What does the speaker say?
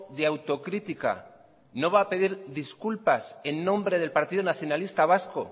de autocrítica no va a pedir disculpas en nombre del partido nacionalista vasco